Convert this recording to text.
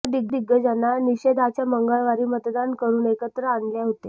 या दिग्गजांना निषेधाच्या मंगळवारी मतदान करून एकत्र आणले होते